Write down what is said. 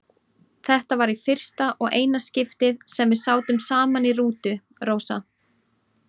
Þetta var í fyrsta og eina skiptið sem við sátum saman í rútu, Rósa.